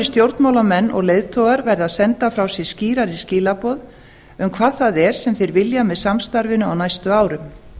stjórnmálamenn og leiðtogar verða að senda frá sér skýrari skilaboð um hvað það er sem þeir vilja með samstarfinu á næstu árum